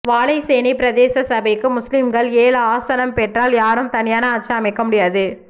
வாழைச்சேனை பிரதேச சபைக்கு முஸ்லிம்கள் ஏழு ஆசனம் பெற்றால் யாரும் தனியான ஆட்சி அமைக்க முடியாது